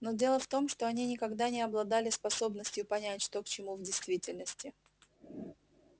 но дело в том что они никогда не обладали способностью понять что к чему в действительности